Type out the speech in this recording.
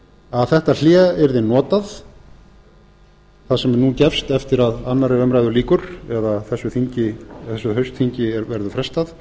að þetta hlé yrði notað það sem nú gefst eftir að annarri umræðu lýkur eða þessu haustþingi verður frestað